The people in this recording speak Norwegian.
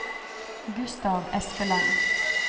Gustav Espeland